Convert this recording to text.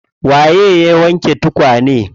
Waye ya wanke tukane?